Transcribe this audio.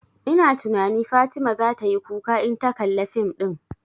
Ina tunani Fatima zata yi kuka in ta kalla fim ɗin